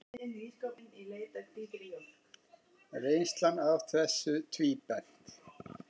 Reynslan af þessu tvíbent.